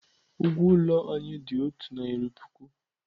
Ụgwọ ụlọ anyị dị otu narị puku.